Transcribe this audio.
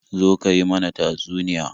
Zo ka yi mana tatsuniya.